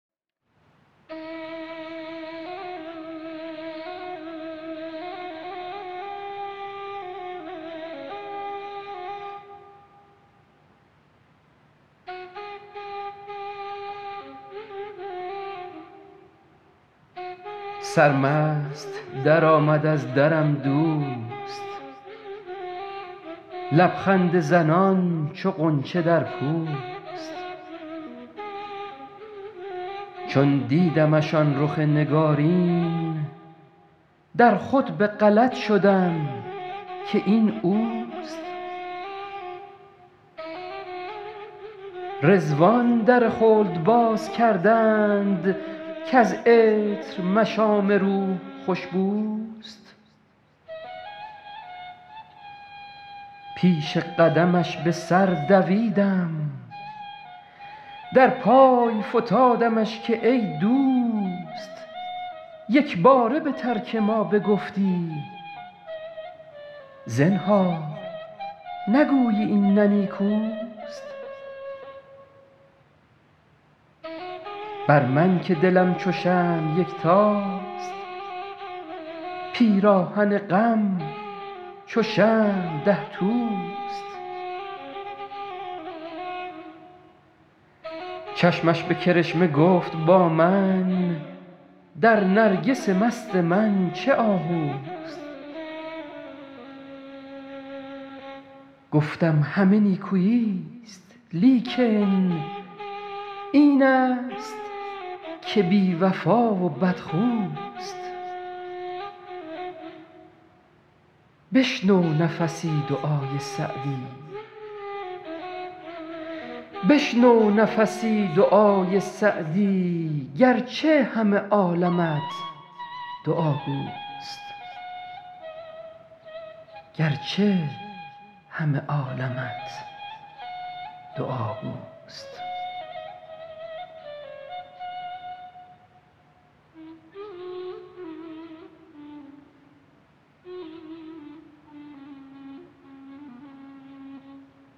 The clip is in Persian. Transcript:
سرمست درآمد از درم دوست لب خنده زنان چو غنچه در پوست چون دیدمش آن رخ نگارین در خود به غلط شدم که این اوست رضوان در خلد باز کردند کز عطر مشام روح خوش بوست پیش قدمش به سر دویدم در پای فتادمش که ای دوست یک باره به ترک ما بگفتی زنهار نگویی این نه نیکوست بر من که دلم چو شمع یکتاست پیراهن غم چو شمع ده توست چشمش به کرشمه گفت با من در نرگس مست من چه آهوست گفتم همه نیکویی ست لیکن این است که بی وفا و بدخوست بشنو نفسی دعای سعدی گر چه همه عالمت دعاگوست